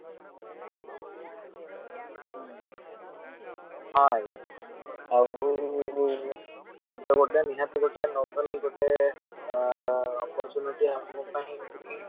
ହଁ ଆଜ୍ଞା ଆଉ ସେ ତ ଗୋଟେ ନିହାତି ଗୋଟେ novel ଗୋଟେ opportunity ଆମ ପାଇଁ କି